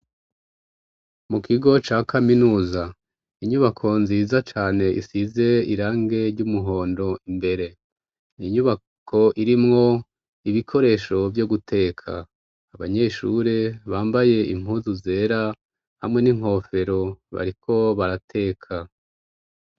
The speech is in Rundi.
Mu kigo ca kaminuza inyubako nziza cane isize irangi ry'umuhondo imbere, inyubako irimwo ibikoresho vyo guteka, abanyeshuri bambaye impuzu zera hamwe n'inkofero bariko barateka.